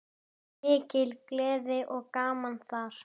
Mikil gleði og gaman þar.